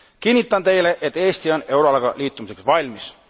Kinnitan teile, et Eesti on euroalaga liitumiseks valmis.